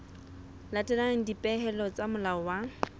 latela dipehelo tsa molao wa